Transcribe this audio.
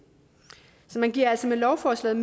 man giver altså med lovforslaget